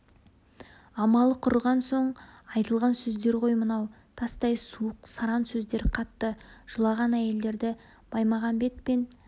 амалы құрыған соң айтылған сөздер ғой мынау тастай суық саран сөздер қатты жылаған әйелдерді баймағамбет пен